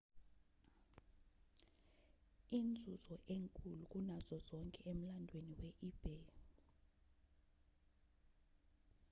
inzuzo enkulu kunazo zonke emlandweni we-ebay